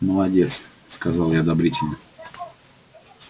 молодец сказал я одобрительно